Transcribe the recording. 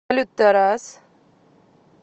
салют тарас